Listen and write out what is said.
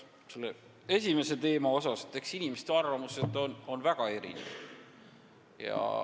Kõigepealt selle esimese teema kohta nii palju, et eks inimeste arvamused on väga erinevad.